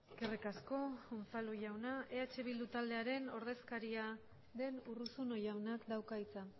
eskerrik asko unzalu jauna eh bildu taldearen ordezkaria den urruzuno jaunak dauka hitza